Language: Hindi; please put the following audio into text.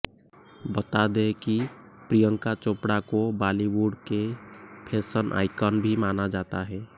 बता दे कि प्रियंका चोपड़ा को बॉलीबुड की फैशन आइकॉन भी माना जाता है